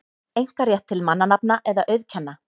einkarétt til mannanafna eða auðkenna.